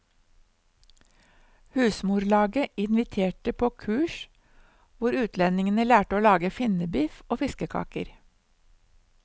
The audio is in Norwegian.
Husmorlaget inviterte på kurs hvor utlendingene lærte å lage finnebiff og fiskekaker.